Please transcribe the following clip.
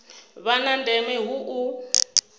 vha na ndeme hu u